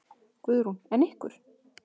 Guðrún: En ykkur?